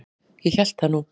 Ég hélt það nú!